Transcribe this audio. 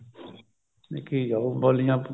ਕੀ ਉਹ ਬੋਲੀਆਂ